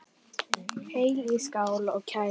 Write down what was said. Hellið í skál og kælið.